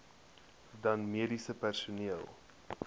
dan mediese personeel